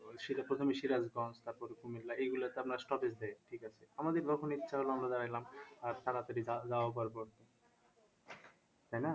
প্রথমে সিরাজগঞ্জ তারপর কুমিল্লা এগুলোতে আপনার stoppage দেয় ঠিক আছে আমাদের যখন ইচ্ছা হল আমরা দাড়াইলাম আর তাড়াতাড়ি তাই না?